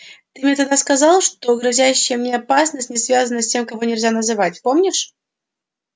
ты мне тогда сказал что грозящая мне опасность не связана с тем кого нельзя называть помнишь